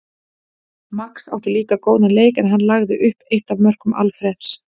Max átti líka góðan leik en hann lagði upp eitt af mörkum Alfreðs.